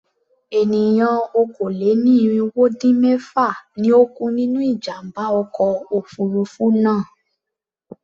Ènìyàn okòó-lé-ní-irínwó-dín-mẹ́fà ni ó kú nínú ìjàm̀bá ọkọ̀ òfurufú náà.